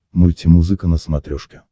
мультимузыка на смотрешке